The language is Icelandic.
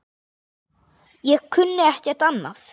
Ég kunni ekkert annað.